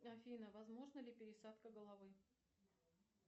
афина возможна ли пересадка головы